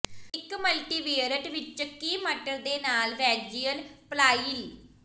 ਇੱਕ ਮਲਟੀਵੀਅਰਏਟ ਵਿੱਚ ਚਿਕੀ ਮਟਰ ਦੇ ਨਾਲ ਵੈਜੀਅਲ ਪਲਾਇਲ